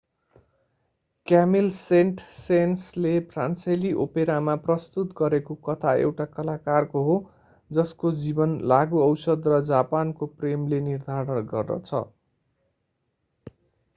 Camille Saint सेन्सले फ्रान्सेली ओपेरामा प्रस्तुत गरेको कथा एउटा कलाकारको हो जसको जीवन लागू औषध र जापानको प्रेमले निर्धारण गर्छ